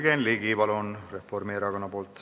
Jürgen Ligi, palun, Reformierakonna nimel!